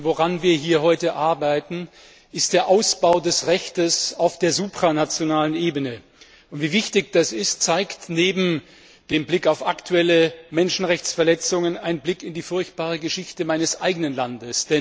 Woran wir hier heute arbeiten, ist der Ausbau des Rechts auf der supranationalen Ebene. Wie wichtig das ist, zeigt neben dem Blick auf aktuelle Menschenrechtsverletzungen ein Blick in die furchtbare Geschichte meines eigenen Landes.